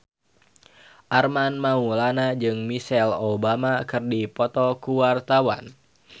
Armand Maulana jeung Michelle Obama keur dipoto ku wartawan